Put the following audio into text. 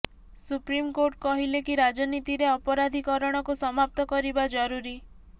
supreme Court କହିଲେ କି ରାଜନୀତିରେ ଅପରାଧିକରଣକୁ ସମାପ୍ତ କରିବା ଜରୁରୀ